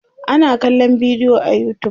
ana kallan bidiyo a utube